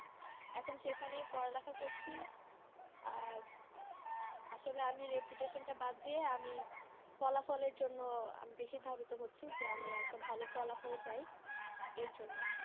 এখন সেখানেই পড়ালেখা করছি আহ আসলে আমি reputation টা বাদ দিয়ে আমি ফলাফলের জন্য আমি বেশি ধাবিত হচ্ছি, যে আমি একটা ভালো ফলাফল চাই এর জন্য